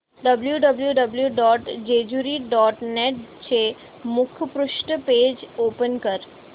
W W W dot Jejuri dot net चे मुखपृष्ठ page open कर